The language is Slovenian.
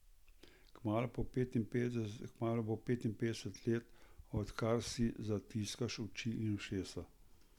Kmalu bo petinpetdeset let, odkar si zatiskaš oči in ušesa.